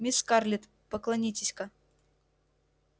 мисс скарлетт поклонитесь-ка